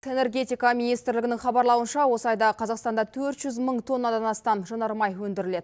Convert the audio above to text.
энергетика министрлігінің хабарлауынша осы айда қазақстанда төрт жүз мың тоннадан астам жанармай өндіріледі